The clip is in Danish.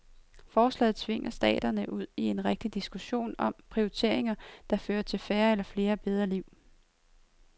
Forslaget tvinger staterne ud i en rigtig diskussion om prioriteringer, der fører til færre eller flere bedre liv.